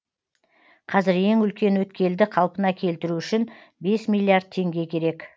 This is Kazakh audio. қазір ең үлкен өткелді қалпына келтіру үшін бес миллиард теңге керек